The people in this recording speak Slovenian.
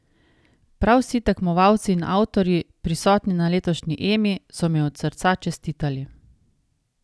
Prav vsi tekmovalci in avtorji, prisotni na letošnji Emi so mi od srca čestitali.